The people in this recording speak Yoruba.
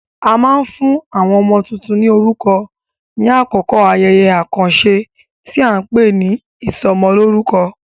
A máa ń fún àwọn ọmọ tuntun ní orúkọ ní àkókò ayẹyẹ àkànṣe tí a ń pè ní ìsọmọlórúkọ.